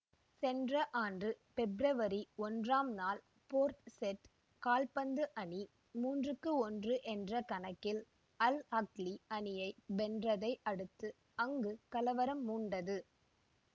சென்ற ஆண்டு பெப்ரவரி ஒன்று ஆம் நாள் போர்ட் செட் கால்பந்து அணி மூன்று ஒன்று என்ற கணக்கில் அல் ஆஹ்லி அணியை வென்றதை அடுத்து அங்கு கலவரம் மூண்டது